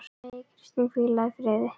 Megi Kristín hvíla í friði.